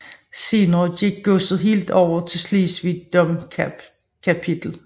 Senere gik godset helt over til Slesvig Domkapitel